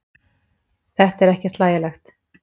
Þetta er ekkert hlægilegt.